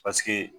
Paseke